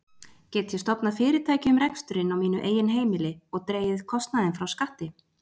Get ég stofnað fyrirtæki um reksturinn á mínu eigin heimili og dregið kostnaðinn frá skatti?